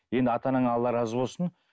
енді ата анаңа алла разы болсын